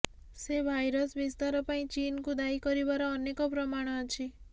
ସେ ଭାଇରସ୍ ବିସ୍ତାର ପାଇଁ ଚୀନାକୁ ଦାୟୀ କରିବାର ଅନେକ ପ୍ରମାଣ ଅଛି